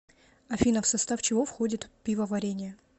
афина в состав чего входит пивоварение